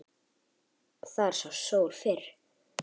Þar sást sólin fyrr.